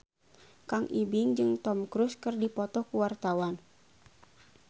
Kang Ibing jeung Tom Cruise keur dipoto ku wartawan